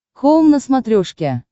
хоум на смотрешке